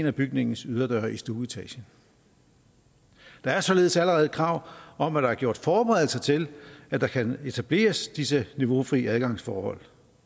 af bygningens yderdøre i stueetagen der er således allerede krav om at der er gjort forberedelser til at der kan etableres disse niveaufri adgangsforhold